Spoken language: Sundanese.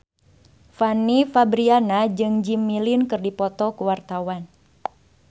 Fanny Fabriana jeung Jimmy Lin keur dipoto ku wartawan